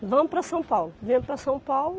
Vamos para São Paulo, viemos para São Paulo.